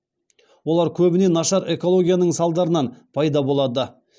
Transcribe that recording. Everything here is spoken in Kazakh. олар көбіне нашар экологияның салдарынан пайда болады